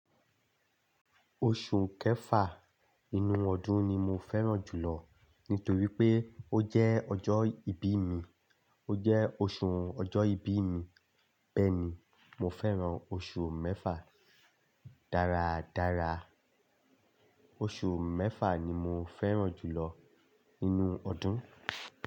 Oṣù kẹfà inú ọdún ni mo fẹ́ràn jùlọ nítorí pé ó jẹ́ ọjọ́ ìbí mi, ó jẹ́ oṣù ọjọ́ ìbí mi, bẹ́ẹ̀ ni mo fẹ́ràn oṣù mẹ́fà dáradára. Oṣù mẹ́fà ni mo fẹ́ràn jùlọ nínú ọdún.